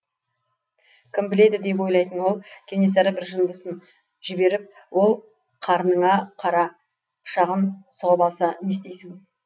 кім біледі деп ойлайтын ол кенесары бір жындысын жіберіп ол қарныңа қара пышағын сұғып алса не істейсің